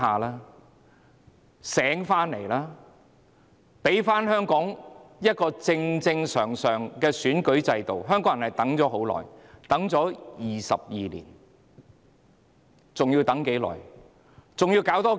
他們應該醒覺，還香港一個正常的選舉制度，香港人已等待了22年，還要等多久？